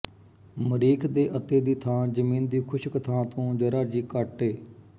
ਮਰੀਖ਼ ਦੇ ਅਤੇ ਦੀ ਥਾਂ ਜ਼ਮੀਨ ਦੀ ਖ਼ੁਸ਼ਕ ਥਾਂ ਤੋਂ ਜ਼ਰਾ ਜੀ ਕੱਟ ਏ